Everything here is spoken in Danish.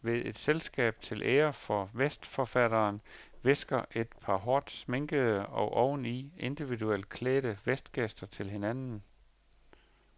Ved et selskab til ære for vestforfatteren hvisker et par hårdt sminkede og ovenud individuelt klædte vestgæster til hinanden.